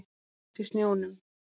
Blóð hans í snjónum.